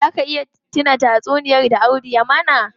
Zaa ka iya tuna tatsuniyar da Audu ya mana?